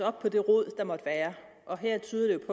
op på det rod der måtte være og her tyder det